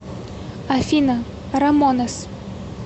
афина рамонес